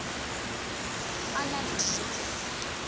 a na le dijo tse